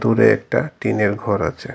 দূরে একটা টিনের ঘর আছে।